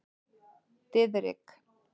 Diðrik